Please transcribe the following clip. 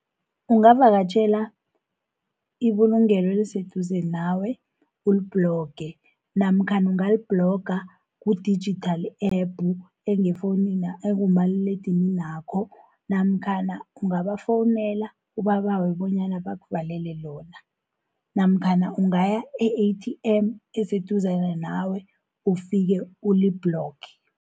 Ungavakatjhela ibulungelo eliseduze nawe ulibhloge, namkhana ungalibhloga ku-digital app ekumaliledininakho namkhana ungabafowunela ubabawe bonyana bakuvalele lona, namkhana ukugaya e-A_T_M eseduze nawe ufike ulibhloge.